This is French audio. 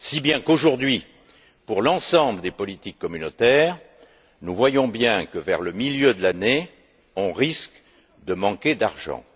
Si bien qu'aujourd'hui, pour l'ensemble des politiques communautaires, nous voyons bien que, vers le milieu de l'année, on risque de manquer d'argent.